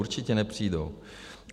Určitě nepřijdou.